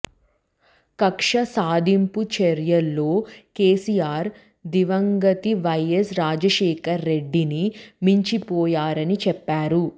కక్ష సాధింపు చర్యల్లో కేసీఆర్ దివంగత వైయస్ రాజశేఖర రెడ్డిని మించిపోయారని చెప్పారు